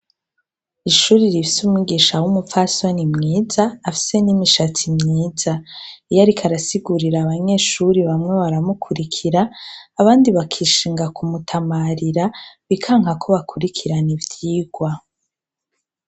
Ishuri rifise umwigisha w'umupfasoni mwiza afise n'imishatsi myiza. Iyo ariko arasigurira abanyeshuri, bamwe baramukurikira, abandi bakishinga kumutamarira, bikanka ko bakurikirana ivyigwa.